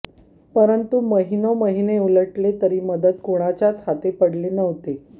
परंतु महिनोंमहिने उलटले तरी मदत कुणाच्याच हाती पडली नव्हती